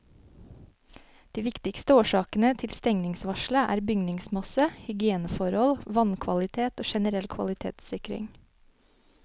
De viktigste årsakene til stengningsvarselet er bygningsmasse, hygieneforhold, vannkvalitet og generell kvalitetssikring.